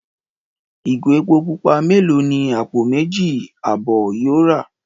Ìgò epo pupa mélòó ni àpò méjì àbọ̀ yóò rà?